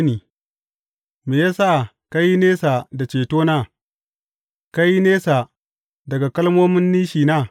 Me ya sa ka yi nisa da cetona, ka yi nesa daga kalmomin nishina?